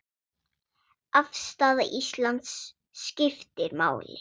Afstaða Íslands skiptir máli.